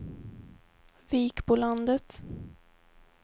Vikbolandet